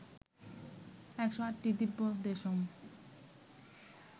১০৮টি Divya Deschamps